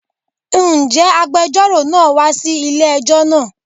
Ǹjẹ́ agbejọ́rò náà wa sí ilé ẹjọ́ náà?